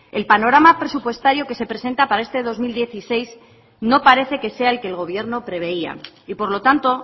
el panorama presupuestario que se presenta para este dos mil dieciséis no parece que sea el que el gobierno preveía y por lo tanto